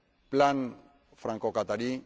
plan francoqatarí